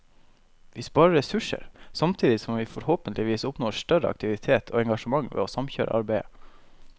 Vi sparer ressurser, samtidig som vi forhåpentligvis oppnår større aktivitet og engasjement ved å samkjøre arbeidet.